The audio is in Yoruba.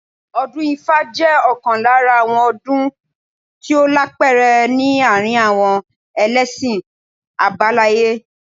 Ọdún ifá jẹ́ ọ̀kan lára àwọn ọdún tí ó lápẹẹrẹ ní àárín àwọn ẹlẹ́ṣin àbáláyé